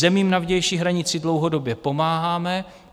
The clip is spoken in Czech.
Zemím na vnější hranici dlouhodobě pomáháme.